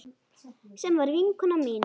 Sem var vinkona mín.